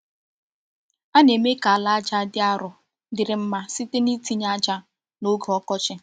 A na-eme ka ala aja dị arọ dịrị mma site n’itinye aja n’oge ọkọchị.